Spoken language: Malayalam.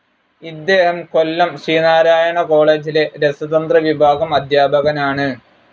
ഇദ്ദേഹം കൊല്ലം ശ്രീനാരായണ കോളേജിലെ രസതന്ത്ര വിഭാഗം അദ്ധ്യാപകനാണ്.